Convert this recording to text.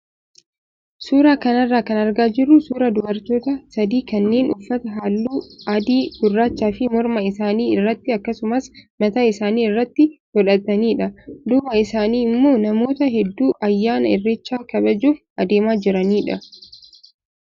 Suuraa kanarraa kan argaa jirru suuraa dubartoota sadii kanneen uffata halluu adii, gurraachaa fi morma isaanii irratti akkasuma mataa isaanii irratti godhatanidha. Duuba isaanii immoo namoota hedduu ayyaana irreechaa kabajuuf adeemaa jiranidha.